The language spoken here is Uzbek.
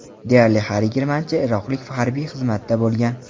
Deyarli har yigirmanchi iroqlik harbiy xizmatda bo‘lgan.